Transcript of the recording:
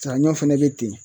Saɲɔ fɛnɛ bɛ ten